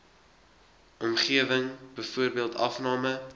omgewing byvoorbeeld afname